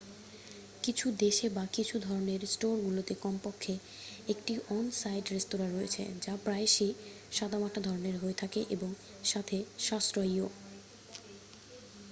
কিছু দেশে বা কিছু ধরণের স্টোরগুলোতে কমপক্ষে একটি অন সাইট রেস্তোঁরা রয়েছে যা প্রায়শই সাদামাটা ধরণের হয়ে থাকে এবং সাথে সাশ্রয়ীও